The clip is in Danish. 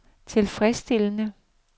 tilfredsstillende